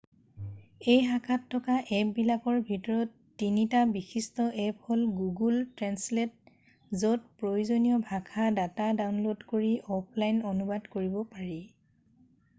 এই শাখাত থকা এপ্পবিলাকৰ ভিতৰত এটা বিশিষ্ট এপ্প হ'ল গুগুল ট্ৰেন্সলেট য'ত প্ৰয়োজনীয় ভাষা ডাটা ডাউনল'ড কৰি অফলাইন অনুবাদ কৰিব পাৰি